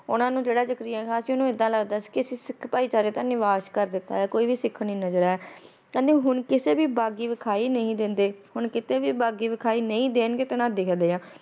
ਉਨਾ ਨੂੰ ਜਿਹੜੇ ਜਕਰੀਆ ਖਾ ਸੀ ਉਨੂੰ